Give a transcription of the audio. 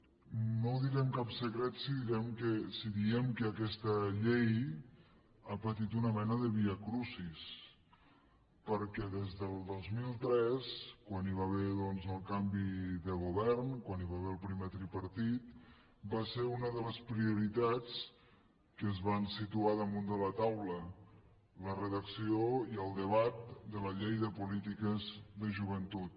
no direm cap secret si diem que aquesta llei ha patit una mena de viacrucis perquè des del dos mil tres quan hi va haver doncs el canvi de govern quan hi va haver el primer tripartit va ser una de les prioritats que es van situar damunt de la taula la redacció i el debat de la llei de polítiques de joventut